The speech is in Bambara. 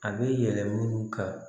A bɛ yɛlɛ olu ka